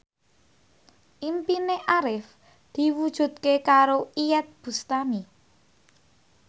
impine Arif diwujudke karo Iyeth Bustami